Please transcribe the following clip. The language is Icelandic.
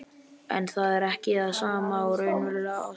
En það er ekki það sama og raunveruleg ást.